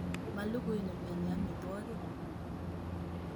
Molugui nemioni omitwokik